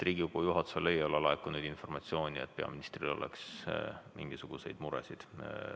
Riigikogu juhatusele ei ole laekunud informatsiooni, et peaministril oleks mingisuguseid muresid.